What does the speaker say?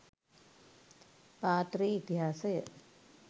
පාත්‍රයේ ඉතිහාසය